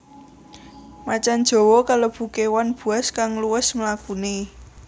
Macan jawa kalebu kéwan buas kang luwes mlakune